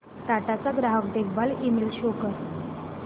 टाटा चा ग्राहक देखभाल ईमेल शो कर